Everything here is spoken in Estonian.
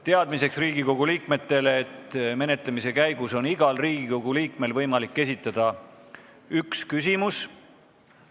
Teadmiseks Riigikogu liikmetele, et menetlemise käigus on igal Riigikogu liikmel võimalik esitada üks küsimus.